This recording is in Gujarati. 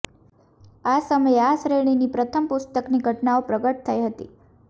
આ સમયે આ શ્રેણીની પ્રથમ પુસ્તકની ઘટનાઓ પ્રગટ થઈ હતી